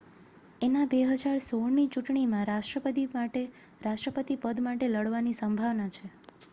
એના 2016 ની ચૂંટણીમાં રાષ્ટ્રપતિ પદ માટે લડવાની સંભાવના છે